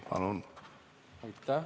Palun!